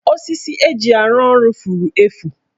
Osisi eji arụ ọrụ furu efu.